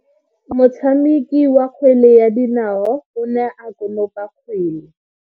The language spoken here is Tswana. Motshameki wa kgwele ya dinao o ne a konopa kgwele.